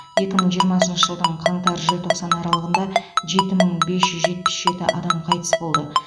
екі мың жиырмасыншы жылдың қаңтар желтоқсан аралығында жеті мың бес жүз жетпіс жеті адам қайтыс болды